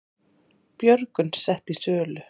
Björgun sett í sölu